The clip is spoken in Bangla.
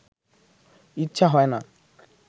ইচ্ছা হয় না